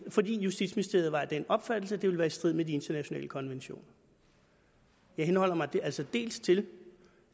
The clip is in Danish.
fordi justitsministeriet var af den opfattelse at de ville være i strid med de internationale konventioner jeg henholder mig altså dels til